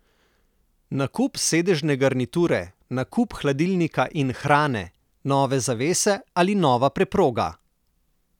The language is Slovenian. Nakup sedežne garniture, nakup hladilnika in hrane, nove zavese ali nova preproga?